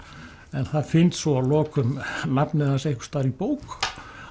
en það finnst svo að lokum nafnið hans einhvers staðar í bók